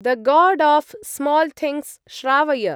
The God of Small Things श्रावय।